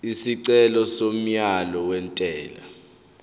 isicelo somyalo wentela